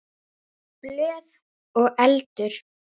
Blöð og eldur.